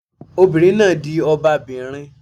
Obìnrin náà di ọba bìnrin